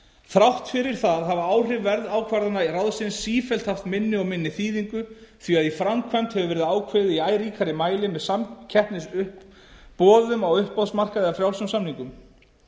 þrátt fyrir það hafa áhrif verðákvarðana ráðsins sífellt haft minni og minni þýðingu því að í framkvæmd hefur verið ákveðið í æ ríkara mæli með samkeppnisboðum á uppboðsmarkaði eða frjálsum samningum